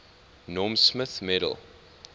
norm smith medal